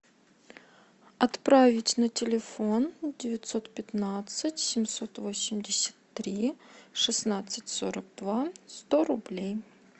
отправить на телефон девятьсот пятнадцать семьсот восемьдесят три шестнадцать сорок два сто рублей